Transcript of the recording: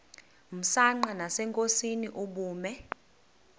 msanqa nasenkosini ubume